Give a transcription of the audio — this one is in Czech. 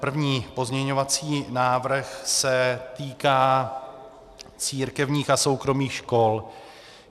První pozměňovací návrh se týká církevních a soukromých škol.